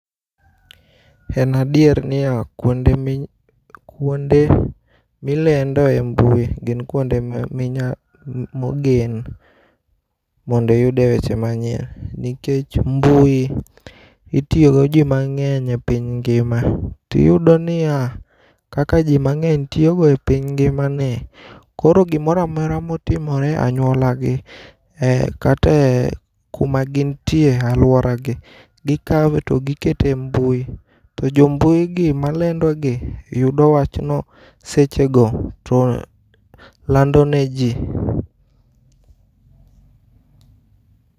En adier ni ya kuonde mi, kuonde milendo e mbui gin kuonde minya mogen mondiyude weche manyien. Nikech mbui itiyo go ji mang'eny e piny ngima. Tiyudo niya, kaka ji mang'eny tiyo go e piny ngima ni, koro gimora mora motimore anyuola gi eh kate kuma gintie alwora gi. Gikawe to gikete e mbui, to jo mbui gi ma lendo gi, yudo wachno seche go to lando ne ji.